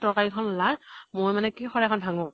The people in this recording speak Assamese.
তৰ্কাৰী খন ওলা মই মানে কি শৰাই খন ভাঙ্গু।